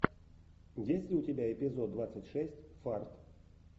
есть ли у тебя эпизод двадцать шесть фарт